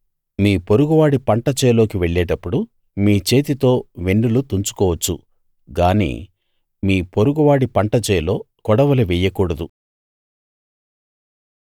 మీ పొరుగువాడి పంట చేలోకి వెళ్ళేటప్పుడు మీ చేతితో వెన్నులు తుంచుకోవచ్చు గానీ మీ పొరుగువాడి పంటచేలో కొడవలి వెయ్యకూడదు